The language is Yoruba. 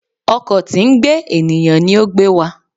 Ọkọ̀ tí ń gbé ènìyàn ní o gbe wa